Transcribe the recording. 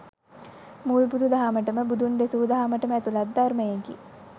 මුල් බුදු දහමට ම බුදුන් දෙසූ දහමටම ඇතුළත් ධර්මයකි